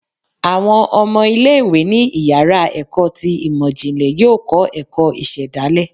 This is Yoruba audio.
Awọn ọmọ ile-iwe ni íyará ekọ tí imọ jinlẹ yọọ kọ ẹkọ isedalè